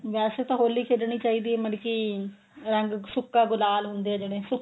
ਵੈਸੇ ਤਾਂ ਹੋਲੀ ਖੇਡਣੀ ਚਾਹੀਦੀ ਏ ਮਤਲਬ ਕੀ ਰੰਗ ਸੁੱਕਾ ਗੁਲਾਲ ਹੁੰਦੇ ਨੇ ਜਿਹੜੇ